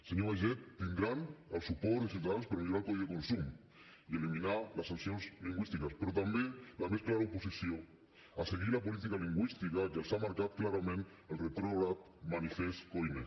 senyor baiget tindran el suport de ciutadans per millorar el codi de consum i eliminar les sancions lingüístiques però també la més clara oposició a seguir la política lingüística que els ha marcat clarament el retrògrad manifest koiné